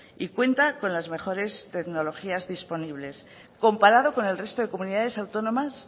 y cuenta con las mejores tecnologías disponibles comparado con el resto de comunidades autónomas